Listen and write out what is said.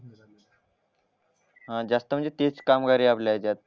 जास्त म्हणजे तेच कामगार आपल्या यांच्यात